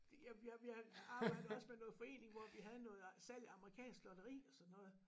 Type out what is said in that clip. Jamen jeg jeg arbejder også med noget forening hvor vi havde noget salg af amerikansk lotteri og sådan noget